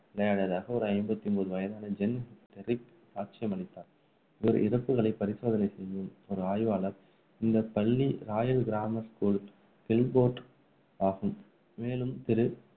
விளையாடியதாக ஒரு ஐம்பத்தி ஒன்பது வயதான ஜான் டெரிக் சாட்சியம் அளித்தார், இவர் இறப்புகளை பரிசோதனை செய்யும் ஒரு ஆய்வாளர். இந்த பள்ளி ராயல் கிராம்மர் ஸ்கூல், கில்ட்போர்ட் ஆகும், மேலும் திரு.